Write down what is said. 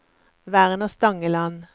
Werner Stangeland